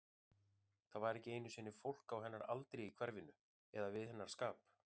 Það var ekki einu sinni fólk á hennar aldri í hverfinu, eða við hennar skap.